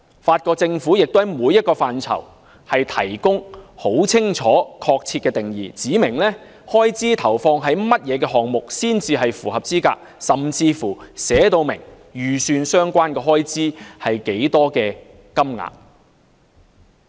法國政府亦就每個範疇提供很清楚和確切的定義，指明開支投放於甚麼項目才算符合資格，甚至訂明預算相關開支是多少金額。